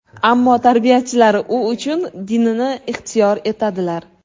Ammo tarbiyachilari u uchun dinini ixtiyor etadilar.